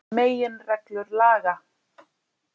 Meginreglur laga.